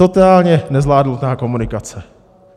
Totálně nezvládnutá komunikace.